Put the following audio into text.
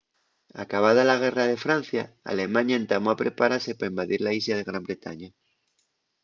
acabada la guerra de francia alemaña entamó a preparase pa invadir la islla de gran bretaña